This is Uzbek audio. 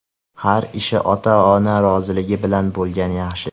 Har ish ota-ona roziligi bilan bo‘lgani yaxshi.